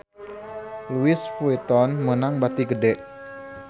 Louis Vuitton meunang bati gede